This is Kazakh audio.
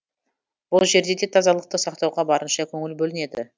бұл жерде де тазалықты сақтауға барынша көңіл бөлінеді